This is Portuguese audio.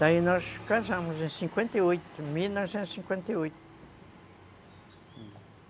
Daí nós casamos em cinquenta e oito, em mil novecentos e cinquenta e oito.